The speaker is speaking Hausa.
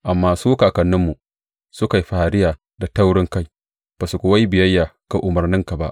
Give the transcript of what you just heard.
Amma su kakanninmu, suka yi fariya da taurinkai, ba su kuwa yi biyayya ga umarnanka ba.